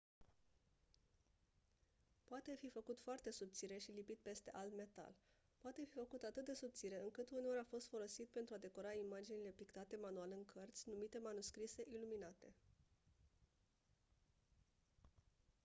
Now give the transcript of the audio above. poate fi făcut foarte subțire și lipit peste alt metal poate fi făcut atât de subțire încât uneori a fost folosit pentru a decora imaginile pictate manual în cărți numite manuscrise iluminate